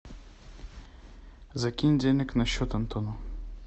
закинь денег на счет антону